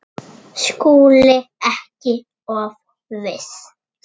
SKÚLI: Ekki of viss!